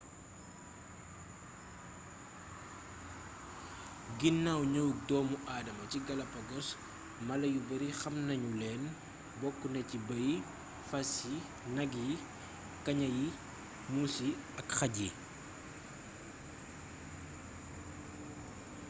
ginnaw ñëwuk doomu adama ci galapagos mala yu bari xamnañu leen bokkna ci bey yi fas yi nak yi kaña yi muus yi ak xaj yi